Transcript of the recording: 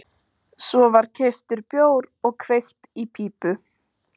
Svo var keyptur bjór og kveikt í pípu.